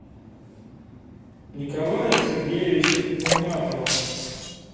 николая сергеевича нурматова